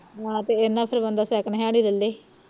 ਆਹ ਤੇ ਇੰਨਾ ਬੰਦਾ second hand ਹੀ ਲੈ ਲੇ